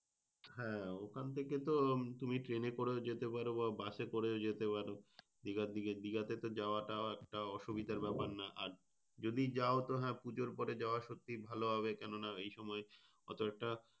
হ্যাঁ ওখান থেকে তো তুমি train এ করে যেতে পারো বা bus এ করে যেতে পারো। দিঘার দিকে দিঘাতে যাওয়াটা একটা অসুবিধার ব্যাপার না। আর যাও যদি তবে হ্যাঁ পুজোর পরে যাওয়া সত্যি ভালো হবে। কেন না এইসময় এতটা,